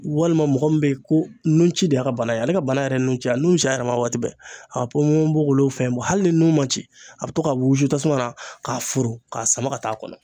Walima mɔgɔ min be ye ko nun ci de y'a ka bana ye ale ka bana yɛrɛ ye nunci ye a nun be ci a yɛrɛ ma waati bɛɛ a ka ponponpogolon fɛn bɔ hali ni nun ma ci a be to ka wusu tasuma na k'a foron k'a sama ka t'a kɔnɔ